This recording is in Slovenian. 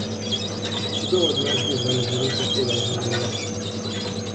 Kdo od nas bi za neznanca tvegal življenje?